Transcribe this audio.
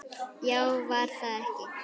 Já, var það ekki!